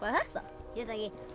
þetta hérna